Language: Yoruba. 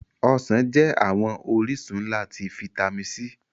Ọsan jẹ awọn orisun nla ti fitami C